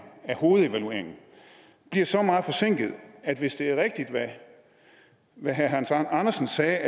af hovedevalueringen bliver så meget forsinket at hvis det er rigtigt hvad herre hans andersen sagde